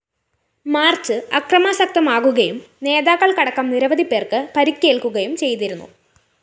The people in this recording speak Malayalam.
മാർച്ച്‌ അക്രമാസക്തമാകുകയും നേതാക്കള്‍ക്ക് അടക്കം നിരവധിപ്പേര്‍ക്ക് പരിക്കേല്‍ക്കുകയും ചെയ്തിരുന്നു